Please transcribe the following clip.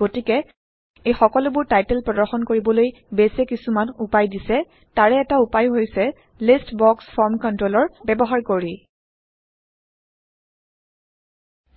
গতিকে এই সকলোবোৰ টাইটল প্ৰদৰ্শন কৰিবলৈ বেইছ এ কিছুমান উপায় দিছে তাৰে এটা উপায় হৈছে লিষ্ট বক্স ফৰ্ম কন্ট্ৰলৰ ব্যৱহাৰ কৰি